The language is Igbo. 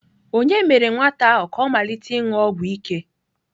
Ònye mere nwata ahụ ka ọ malite ịṅụ ọgwụ ike?